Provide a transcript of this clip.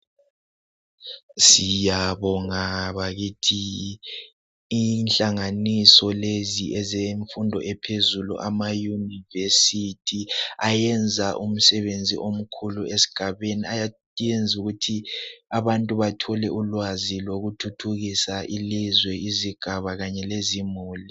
siyabonga bakithi inhlanganiso lezi ezemfundo ephezulu ama university ayenza umsebenzi omkhulu esigabeni ayayenza ukuthi abantu bathole ulwazi lokuthuthukisa ilizwe izigaba kanye lezimuli